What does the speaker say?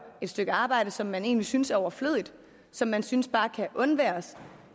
et stykke arbejde som man egentlig synes er overflødigt og som man synes bare kan undværes